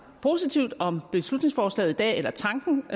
positivt om beslutningsforslaget i dag eller tanken